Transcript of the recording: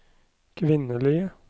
kvinnelige